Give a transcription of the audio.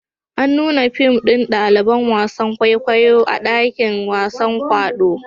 An nuna fim ɗin ɗaliban wasan kwaikwayo a dakin wasan kwaɗo